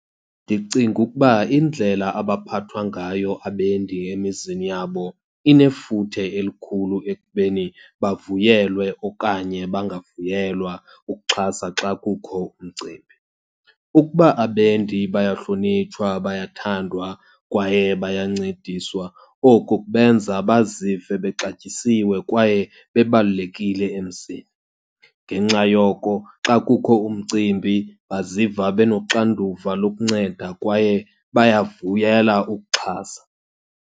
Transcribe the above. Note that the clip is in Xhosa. Ndicinga ukuba indlela abaphathwa ngayo abendi emizini yabo inefuthe elikhulu ekubeni bavuyelwe okanye bangavuyelwa ukuxhasa xa kukho umcimbi. Ukuba abendi bayahlonitshwa, bayathandwa, kwaye bayancediswa oko kubenza bazive bexatyisiwe kwaye bebalulekile emzini. Ngenxa yoko, xa kukho umcimbi baziva benoxanduva lokunceda kwaye bayavuyela ukuxhasa.